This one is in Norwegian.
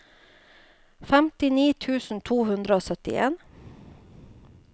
femtini tusen to hundre og syttien